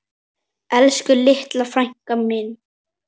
Elsku litli frændi minn.